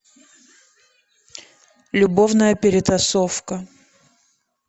любовная перетасовка